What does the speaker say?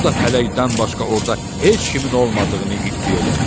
O da pələkdən başqa orda heç kimin olmadığını iddia elədi.